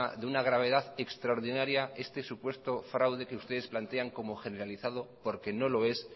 de una gravedad extraordinaria este supuesto fraude que ustedes plantean como generalizado porque no lo es